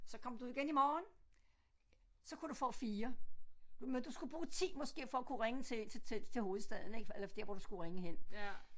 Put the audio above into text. Så kom du igen i morgen så kunne du få 4 men du skulle bruge 10 måske for at kunne til til til hovedstaden ik eller der hvor du skulle ringe hen